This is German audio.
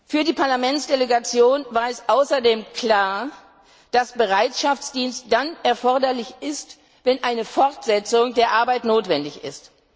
Für die Parlamentsdelegation war es außerdem klar, dass Bereitschaftsdienst dann erforderlich ist, wenn eine Fortsetzung der Arbeit notwendig ist.